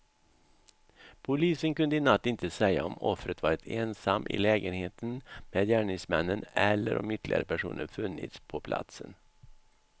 Polisen kunde i natt inte säga om offret varit ensam i lägenheten med gärningsmännen eller om ytterligare personer funnits på platsen.